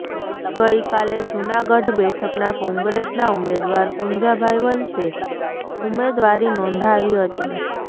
ગઈકાલે જૂનાગઢ બેઠકનાં કોંગ્રેસનાં ઉમેદવાર પુંજાભાઈ વંશે ઉમેદવારી નોંધાવી હતી